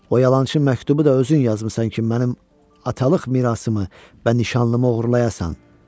O yalançı məktubu da özün yazmısan ki, mənim atalıq mirasımı və nişanlımı oğurlayasan.